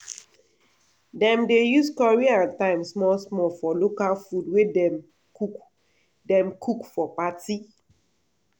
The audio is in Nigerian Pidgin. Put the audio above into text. dem dey use curry and thyme small small for local food wey dem cook dem cook for party.